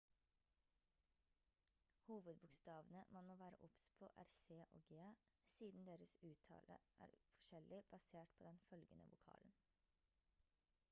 hovedbokstavene man må være obs på er c og g siden deres uttale er forskjellig basert på den følgende vokalen